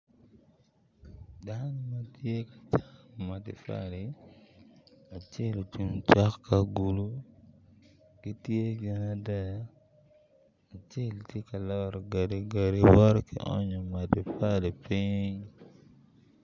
Dano matye ka coko matafali, acel ocung cok ki agulu, gitye gin adek, acel tye ka loro gadi gadi woto ki onyo matafali piny